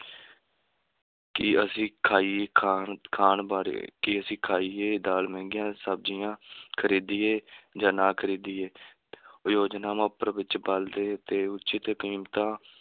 ਕਿ ਅਸੀਂ ਖਾਈਏ ਖਾਣ ਖਾਣ ਬਾਰੇ, ਕਿ ਅਸੀਂ ਖਾਈਏ ਦਾਲ ਮਹਿੰਗੀਆਂ ਸ਼ਬਜੀਆਂ ਖਰੀਦੀਏ ਜਾਂ ਨਾ ਖਰੀਦੀਏ ਯੋਜਨਾਵਾਂ ਉੱਪਰ ਵਿੱਚ ਬਲਦੇ ਤੇ ਕੀਮਤਾਂ,